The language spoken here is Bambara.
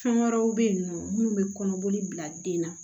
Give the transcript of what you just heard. Fɛn wɛrɛw bɛ yen nɔ minnu bɛ kɔnɔboli bila den na